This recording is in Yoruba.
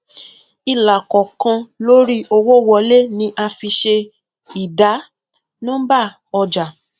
ilàkọọkan lórí owó wọlé ni a fi ṣe ìdá nọmbà ọjà